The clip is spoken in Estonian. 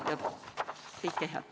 Kõike head teile!